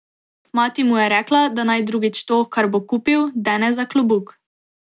Mati mu je rekla, da naj drugič to, kar bo kupil, dene za klobuk.